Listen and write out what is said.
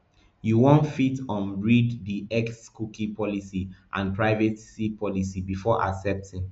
you fit wan um read di xcookie policyandprivacy policybefore accepting